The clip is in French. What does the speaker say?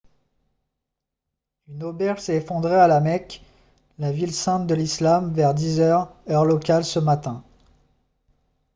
une auberge s'est effondrée à la mecque la ville sainte de l'islam vers 10 heures heure locale ce matin